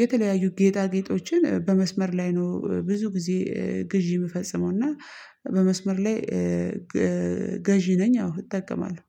የተለያዩ ጌጣጌጦችን በመስመር ላይ ነው ብዙ ጊዜ ግዢ ምፈጽመው። እና በመስመር ላይ ገዢ ነኝ አዎ እጠቀማለሁ